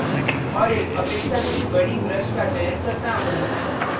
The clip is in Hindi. मैं इस भाग में zoom करता हूँ और एक अपेक्षाकृत बड़ी brush का चयन करता हूँ